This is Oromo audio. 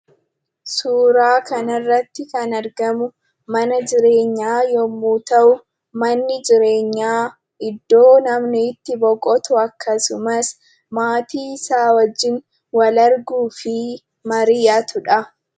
Suuraa kana irratti kan argamu, mana jireenyaa yemmuu ta'u, manni jireenyaa iddoo namni itti boqotu, akkasumas maatii isaa wajjin walarguu fi mari'atudha.